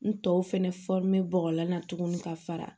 N tɔw fɛnɛ bɔgɔlan na tuguni ka fara